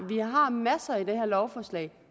masser i det her lovforslag